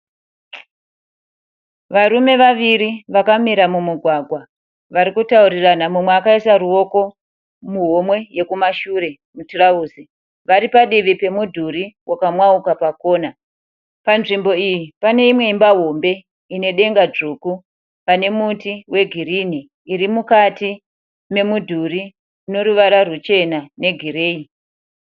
Varume vaviri vakamira mumugwagwa, vari kutaurirana ,mumwe akaisa ruoko muhomwe ye kumashure mutirauzi. Vari padivi remudhuri wakamwauka pakona. Panzvimbo iyi pane imwe imba hombe inedenga dzvuku, pane muti wegirini, iri mukati memudhuri ine ruvara nerwuchena negireyi.